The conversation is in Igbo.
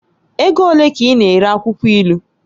Ego ole ka ị na-ere akwụkwọ ilu?